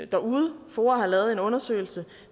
derude foa har lavet en undersøgelse